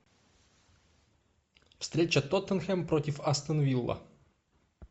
встреча тоттенхэм против астон вилла